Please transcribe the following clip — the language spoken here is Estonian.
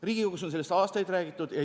Riigikogus on sellest juba aastaid räägitud.